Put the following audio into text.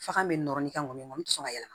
Fakan bɛ nɔrɔ ni ka mɔnikɔni tɛ sɔn ka yɛlɛma